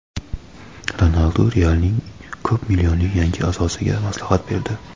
Ronaldu "Real"ning ko‘p millionli yangi a’zosiga maslahat berdi.